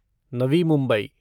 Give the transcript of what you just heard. Navi Mumbai